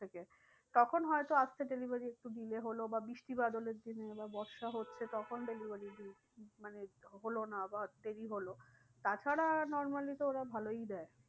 তখন হয় তো আসতে delivery একটু delay হলো বা বৃষ্টি বাদলের দিনে বা বর্ষা হচ্ছে তখন delivery মানে হলো না বা দেরি হলো। তাছাড়া normally তো ওরা ভালোই দেয়।